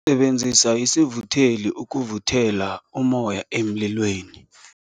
Sisebenzise isivutheli ukuvuthela ummoya emlilweni.